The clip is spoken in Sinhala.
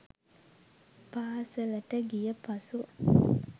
පාසලට ගියපසු